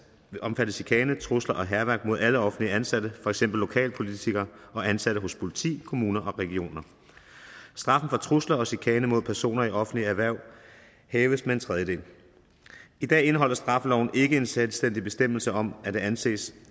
omfatte chikane trusler og hærværk mod alle offentligt ansatte for eksempel lokalpolitikere og ansatte hos politi kommuner og regioner straffen for trusler og chikane mod personer i offentlige hverv hæves med en tredjedel i dag indeholder straffeloven ikke en selvstændig bestemmelse om at det anses